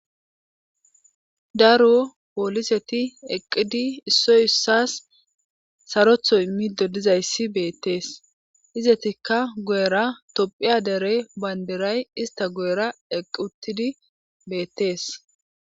daro pooliseti eqqidi issoy issas sarotho immido dizayssi beettees izetikka guyera tophiya dere bandiray ista goyera eqqi uttidi beettees